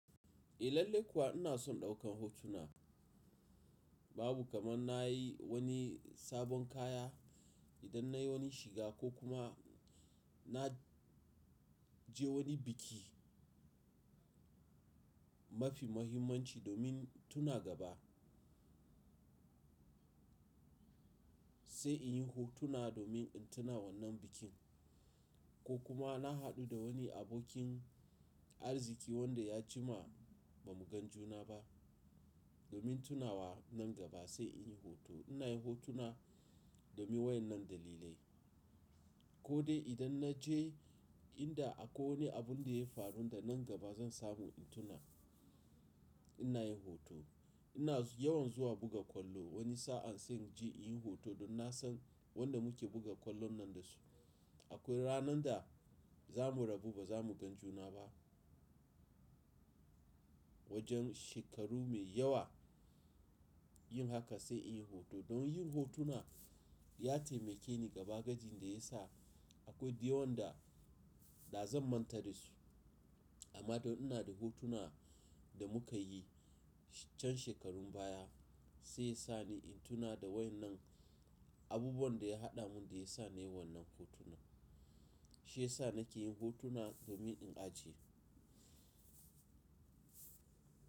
Eh lalle kuwa ina son ɗaukan hotuna. Babu kaman na yi wani sabon kaya, idan nai wani shiga ko kuma na je wani biki. Mafi mahimmanci domin tuna gaba. Sai in yi hotuna domin in tuna wannan bikin. Ko kuma na haɗu da wani abokin Arziki wanda ya jima ba mu gan juna ba domin tuna wa nan gaba sai in yi hoto. Ina yin hotuna domin waƴannan dalilai. Ko dai idan na je inda akwai wani abun da ya faru da nan gaba zan samu in tuna, ina yin hoto. Ina yawan zuwa buga kwallo wani sa'an sai in je in yi hoto don na san wanda muke buga kwallon nan da su. Akwai ranan da za mu rabu ba za mu gan juna ba. Wajen shekaru mai yawa yin haka sai in yi hoto. Don yin hotuna ya taimake ni gaba gajin da ya sa akwai da yawan da, da zan manta da su. Amma don ina da hotuna da muka yi can shekarun baya sai sa ni in tuna da waƴannan abubuwan da ya haɗa mun da ya sa nai wannan hotunan. Shi ya sa nake yin hotuna domin in ajiye.